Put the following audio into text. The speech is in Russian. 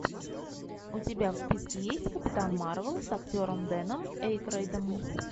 у тебя в списке есть капитан марвел с актером дэном эйкройдом